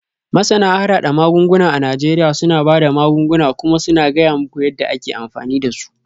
Masana harhada magunguna a Najeriya suna ba da magunguna kuma suna gaya muku yadda ake amfani da su.